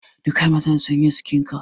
Dukka mazan sun yi skincut.